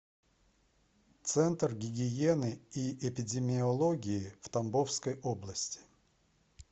центр гигиены и эпидемиологии в тамбовской области